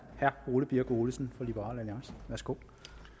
herre ole birk olesen fra liberal alliance værsgo